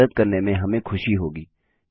आपकी मदद करने में हमें खुशी होगी